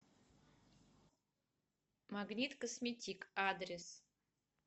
магнит косметик адрес